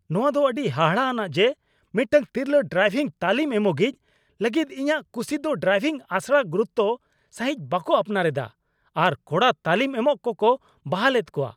ᱱᱚᱶᱟᱫᱚ ᱟᱹᱰᱤ ᱦᱟᱦᱟᱲᱟᱜ ᱟᱱᱟᱜ ᱡᱮ ᱢᱤᱫᱴᱟᱝ ᱛᱤᱨᱞᱟᱹ ᱰᱨᱟᱭᱵᱷᱤᱝ ᱛᱟᱹᱞᱤᱢ ᱮᱢᱚᱜᱤᱡ ᱞᱟᱹᱜᱤᱫ ᱤᱧᱟᱹᱜ ᱠᱩᱥᱤ ᱫᱚ ᱰᱨᱟᱭᱵᱷᱤᱝ ᱟᱥᱲᱟ ᱜᱩᱨᱩᱛᱛᱚ ᱥᱟᱹᱦᱤᱡ ᱵᱟᱠᱚ ᱟᱯᱱᱟᱨ ᱮᱫᱟ ᱟᱨ ᱠᱚᱲᱟ ᱛᱟᱹᱞᱤᱢ ᱮᱢᱚᱜ ᱠᱚᱠᱚ ᱵᱟᱦᱟᱞ ᱮᱫ ᱠᱚᱣᱟ ᱾